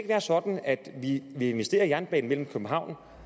være sådan at vi vil investere i jernbanen mellem københavn